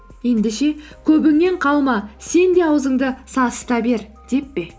ендеше көбіңнен қалма сен де аузыңды сасыта бер деп пе